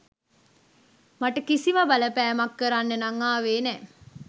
මට කිසිම බලපෑමක් කරන්න නං ආවෙ නෑ.